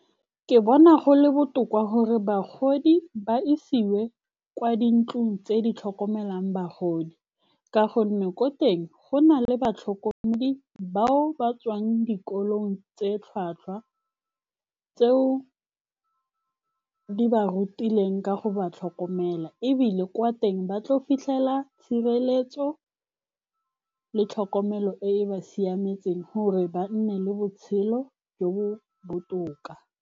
Ke bona go le botoka gore bagodi ba isiwe kwa dintlong tse di tlhokomelang bagodi, ka gonne ko teng go na le batlhokomedi bao ba tswang dikolong tse tlhwatlhwa, tseo di ba rutileng ka go ba tlhokomela. E bile kwa teng ba tlile go fitlhela tshireletso le tlhokomelo e e ba siametseng, gore ba nne le botshelo jo bo botoka.